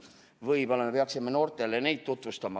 Võib-olla me peaksime noortele neid tutvustama.